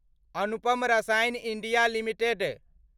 Anupam Rasayan India limited